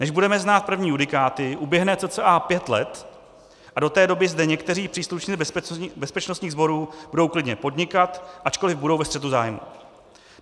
Než budeme znát první judikáty, uběhne cca pět let a do té doby zde někteří příslušníci bezpečnostních sborů budou klidně podnikat, ačkoliv budou ve střetu zájmů.